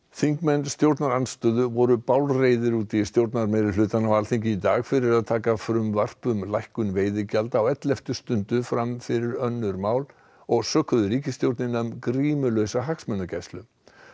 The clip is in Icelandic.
þingmenn stjórnarandstöðu voru bálreiðir út í stjórnarmeirihlutann á Alþingi í dag fyrir að taka frumvarp um lækkun veiðigjalda á elleftu stundu fram fyrir önnur mál og sökuðu ríkisstjórnina um grímulausa hagsmunagæslu